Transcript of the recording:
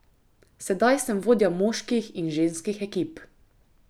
Sedaj sem vodja moških in ženskih ekip.